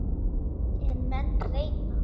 En menn reyna.